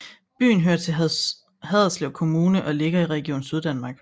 Byen hører til Haderslev Kommune og ligger i Region Syddanmark